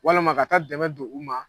Walama ka taa dɛmɛ don u ma